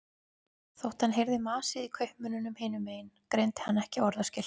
Þótt hann heyrði masið í kaupmönnunum hinum megin greindi hann ekki orðaskil.